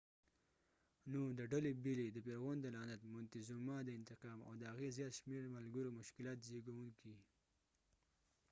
نو د ډلي بیلي د فرعون د لعنت مونتیزوما د انتقام او د هغې زیات شمیر ملګرو مشکلات زیږونکي